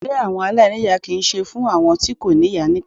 Ilé àwọn aláìníyà kì í ṣe fún àwọn tí kò ní ìyá nìkan.